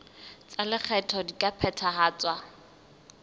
tsa lekgetho di ka phethahatswa